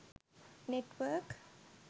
network